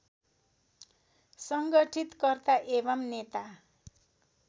सङ्गठितकर्ता एवं नेता